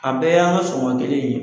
A bɛɛ y'an ka sugan kelen ye